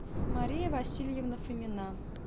мария васильевна фомина